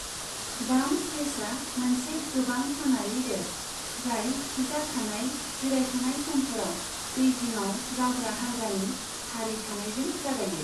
Bumps रेसा मोनसे गोबां सानारि रेस, जाय थिजाखानाय जिरायथ'नाय समफोराव दैजिङाव जावग्रा हान्जानि सारि थानायजों जागायो।